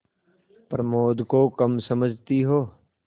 प्रमोद को कम समझती हो